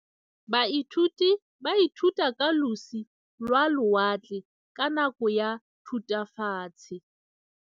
Baithuti ba ithutile ka losi lwa lewatle ka nako ya Thutafatshe.